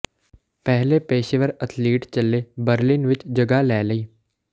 ਪਹਿਲੇ ਪੇਸ਼ੇਵਰ ਅਥਲੀਟ ਚੱਲੇ ਬਰ੍ਲਿਨ ਵਿੱਚ ਜਗ੍ਹਾ ਲੈ ਲਈ